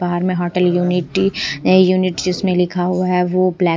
बाहर में hotel unity unit जिसमें लिखा हुआ है वो --